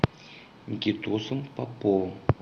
никитосом поповым